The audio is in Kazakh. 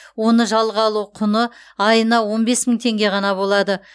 оны жалға алу құны айына он бес мың теңге ғана болады